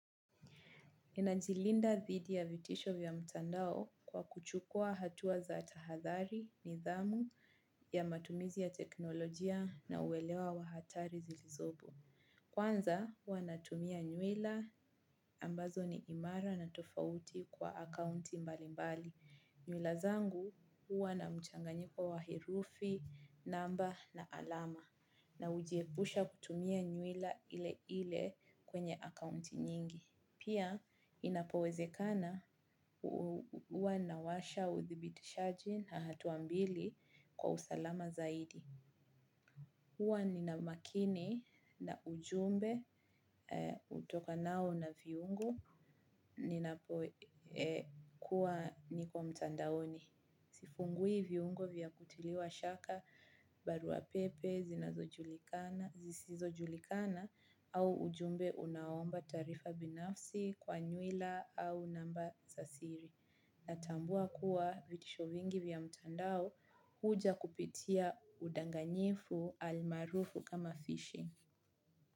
Ninajilinda thidi ya vitisho vya mtandao, kwa kuchukua hatua za tahadhari, nidhamu, ya matumizi ya teknolojia na uwelewa wahatari zilizopo. Kwanza, hua natumia nyuila ambazo ni imara na tofauti kwa akaunti mbali mbali. Nyuila zangu, hua na mchanganyiko wa herufi, namba na alama. Na ujiebusha kutumia nyuila ile ile, kwenye akaunti nyingi. Pia, inapowezekana uwa nawasha uthibitishaji na hatuambili, kwa usalama zaidi. Uwa nina makini na ujumbe utokanao na viungu ninapokuwa niko mtandaoni. Sifungui viungo vya kutiliwa shaka, baruapepe, zinazo julikana, zisizo julikana au ujumbe unaomba taarifa binafsi kwa nyuila au namba sa siri. Natambua kuwa, vitisho vingi vya mtandao, huja kupitia udanganyifu almarufu kama fishing.